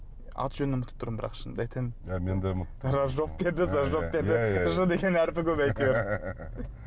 аты жөнін ұмытып тұрмын бірақ шынымды айтайын иә мен де ұмытып тұрмын ражок пе еді ж деген әріпі көп әйтеуір